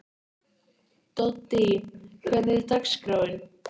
Doddý, hvernig er dagskráin?